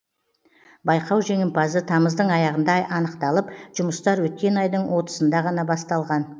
байқау жеңімпазы тамыздың аяғында анықталып жұмыстар өткен айдың отызында ғана басталған